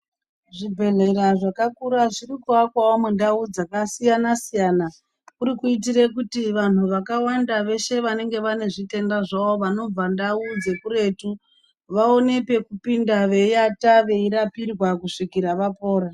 Zvibhedhlera zvakura zviri kuakwawo mundau dzakasiyana-siyana. Kuri kuyitire kuti vanhu vakawanda veshe vanenge vane zvitenda zvavo, vanobva ndau dzekuretu, vaone pekupinda veyiata veyirapirwa kusvikara vapora.